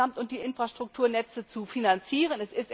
EUR insgesamt, um die Infrastrukturnetze zu finanzieren.